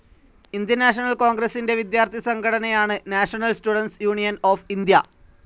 Indian National കോൺഗ്രസിൻ്റെ വിദ്യാർത്ഥി സംഘടനയാണ് National Students Union of India.